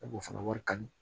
A b'o fana wari kanu